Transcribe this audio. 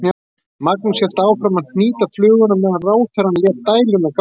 Magnús hélt áfram að hnýta fluguna á meðan ráðherrann lét dæluna ganga.